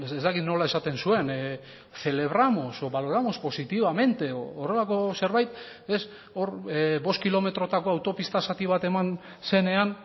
ez dakit nola esaten zuen celebramos o valoramos positivamente horrelako zerbait hor bost kilometrotako autopista zati bat eman zenean